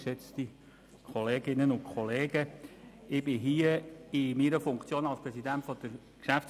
Ich befinde mich hier in meiner Funktion als Präsident der GPK.